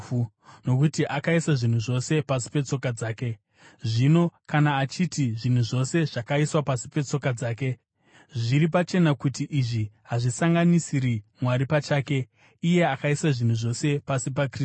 Nokuti akaisa zvinhu zvose pasi petsoka dzake. Zvino kana achiti “zvinhu zvose” zvakaiswa pasi petsoka dzake, zviri pachena kuti izvi hazvisanganisiri Mwari pachake, iye akaisa zvinhu zvose pasi paKristu.